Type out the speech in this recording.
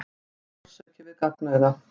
Logandi sársauki við gagnauga.